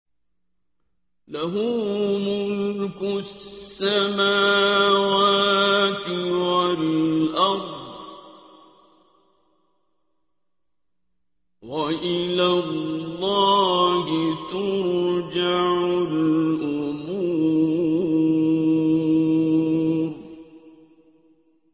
لَّهُ مُلْكُ السَّمَاوَاتِ وَالْأَرْضِ ۚ وَإِلَى اللَّهِ تُرْجَعُ الْأُمُورُ